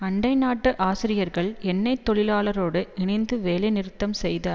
அண்டை நாட்டு ஆசிரியர்கள் எண்ணெய் தொழிலாளரோடு இணைந்து வேலை நிறுத்தம் செய்த